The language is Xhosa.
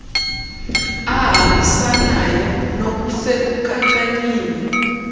ahambisanayo nook sekukhankanyiwe